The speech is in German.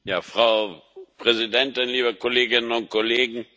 Frau Präsidentin, liebe Kolleginnen und Kollegen!